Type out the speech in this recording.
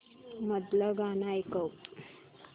मधलं गाणं ऐकव